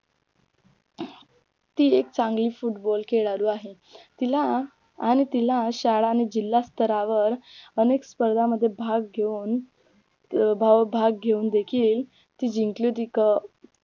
ती एक चांगली Football खेळाडू आहे तिला आणि तिला शाळा आणि जिल्हास्तरावर अनेक स्पर्धा मध्ये भाग घेवून अं भाग घेवून देखील ती जिंकली